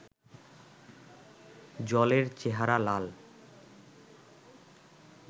জলের চেহারা লাল